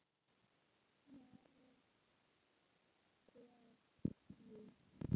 Fjarri fer því.